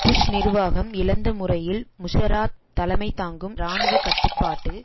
push நிர்வாகம் இழிந்த முறையில் முஷராப் தலைமைதாங்கும் இராணுவ கட்டுப்பாட்டு